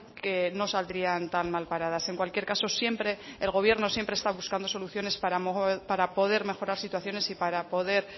que no saldrían tan mal paradas en cualquier caso siempre el gobierno siempre está buscando soluciones para poder mejorar situaciones y para poder